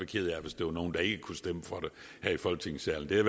ked af hvis der var nogen der ikke kunne stemme for det her i folketingssalen det har